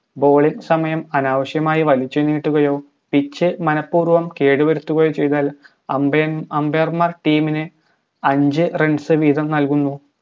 bowling സമയം അനാവശ്യമായി വലിച്ചുനീട്ടുകയോ pitch മനഃപൂർവ്വം കേടുവരുത്തുകയോ ചെയ്താൽ അമ്പയൻ umbair മാർ team നെ അഞ്ച് runs വീതം നൽകുന്നു